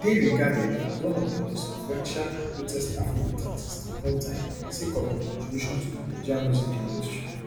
e dey regarded as one of di most influential and greatest afrobeat artists of all time sake of im contribution to di nigerian music industry